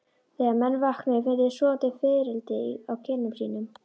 Þegar menn vöknuðu fundu þeir sofandi fiðrildi á kinnum sínum.